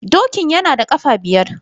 Dokin yana da kafa biyar ne.